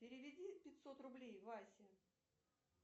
переведи пятьсот рублей васе